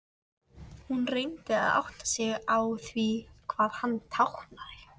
Hún reyndi að átta sig á því hvað hann táknaði.